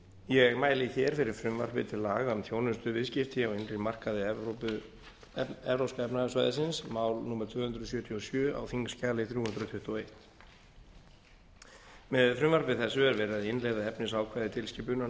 ég mæli hér fyrir frumvarpi til laga um þjónustuviðskipti á innri markaði evrópska efnahagssvæðisins mál númer tvö hundruð sjötíu og sjö á þingskjali þrjú hundruð tuttugu og eitt með frumvarpi þessu er verið að innleiða efnisákvæði tilskipunar